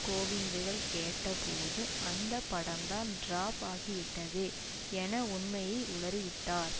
கேவிந்துகள் கேட்டபோது அந்த படம்தான் டிராப் ஆகிவிட்டதே என உண்மையை உளறிவிட்டார்